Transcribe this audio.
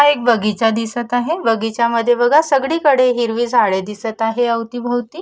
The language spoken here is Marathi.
हा एक बगीचा दिसत आहे बगीचा मध्ये बगा सगडी कडे हिरवी झाडे दिसत आहे अवती भवती--